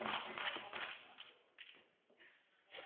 Je ne confonds pas l'Europe et l'Union européenne.